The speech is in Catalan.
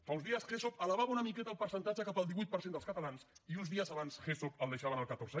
fa uns dies gesop elevava una miqueta el percentatge cap al divuit per cent dels catalans i uns dies abans gesop el deixava en el catorze